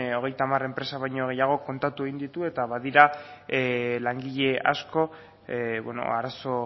hogeita hamar enpresa baino gehiago kontatu egin ditu eta badira langile asko arazo